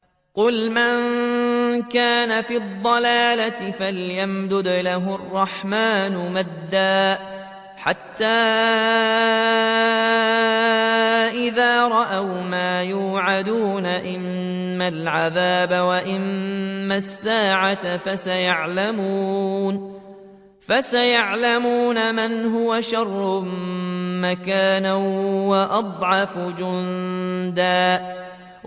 قُلْ مَن كَانَ فِي الضَّلَالَةِ فَلْيَمْدُدْ لَهُ الرَّحْمَٰنُ مَدًّا ۚ حَتَّىٰ إِذَا رَأَوْا مَا يُوعَدُونَ إِمَّا الْعَذَابَ وَإِمَّا السَّاعَةَ فَسَيَعْلَمُونَ مَنْ هُوَ شَرٌّ مَّكَانًا وَأَضْعَفُ جُندًا